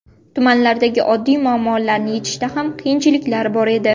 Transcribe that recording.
Tumanlardagi oddiy muammolarni yechishda ham qiyinchiliklar bor edi.